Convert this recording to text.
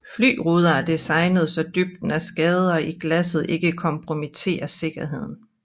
Fly ruder er designet så dybden af skader i glasset ikke kompromitterer sikkerheden